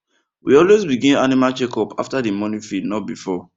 we always begin animal checkup after the morning feed not before